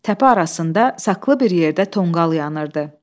Təpə arasında saxlı bir yerdə tonqal yanırdı.